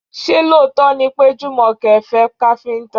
Ṣé lóòótọ́ ni pé Jùmọ̀kẹ́ fẹ́ káfíńtà?